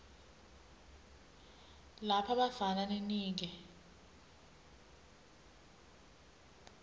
lapha bafana ninike